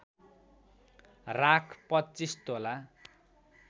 राख २५ तोला